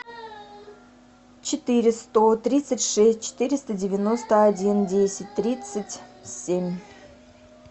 четыре сто тридцать шесть четыреста девяносто один десять тридцать семь